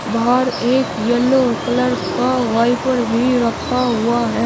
बाहर एक yellow colour का वाइपर भी रखा हुआ है।